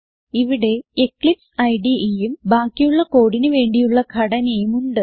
ഇവിടെ എക്ലിപ്സ് IDEഉം ബാക്കിയുള്ള കോഡിന് വേണ്ടിയുള്ള ഘടനയും ഉണ്ട്